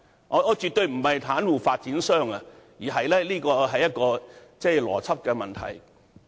我絕對不是要袒護發展商，但這個邏輯存在問題。